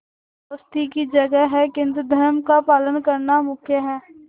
दोस्ती की जगह है किंतु धर्म का पालन करना मुख्य है